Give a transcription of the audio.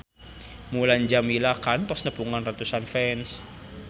Mulan Jameela kantos nepungan ratusan fans